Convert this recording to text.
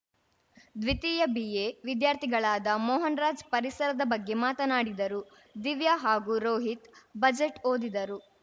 ದ್ವಿತೀಯ ಬಿಎ ವಿದ್ಯಾರ್ಥಿಗಳಾದ ಮೋಹನ್‌ ರಾಜ್‌ ಪರಿಸರದ ಬಗ್ಗೆ ಮಾತನಾಡಿದರು ದಿವ್ಯ ಹಾಗೂ ರೋಹಿತ್‌ ಬಜೆಟ್‌ ಓದಿದರು